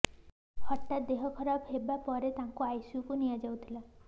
ହଠାତ୍ ଦେହ ଖରାପ ହେବା ପରେ ତାଙ୍କୁ ଆଇସିୟୁକୁ ନିଆଯାଇଥିଲା